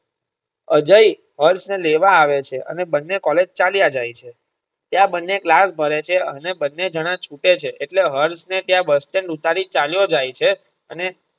અજય હર્ષ ને લેવા આવે છે અને બંને કૉલેજ ચાલ્યા જાય છે ત્યાં બનને class ભારે છે અને બંને જણા છૂટે છે એટલે હર્ષ ને ત્યાં bus stand ઉતારી ચાલ્યો જાય છે અને.